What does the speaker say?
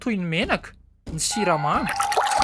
toy ny menaka, ny siramamy.